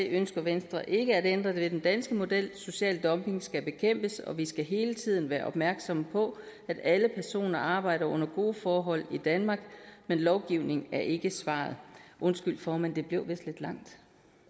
ønsker venstre ikke at ændre ved den danske model social dumping skal bekæmpes og vi skal hele tiden være opmærksomme på at alle personer arbejder under gode forhold i danmark men lovgivning er ikke svaret undskyld formand det blev vist lidt langt